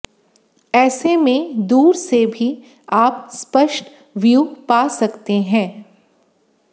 ऐसे में दूर से भी आप स्पष्ट व्यू पा सकते हैं